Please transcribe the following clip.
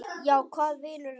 Já, hvað vinur minn?